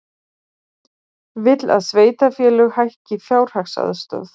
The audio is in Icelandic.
Vill að sveitarfélög hækki fjárhagsaðstoð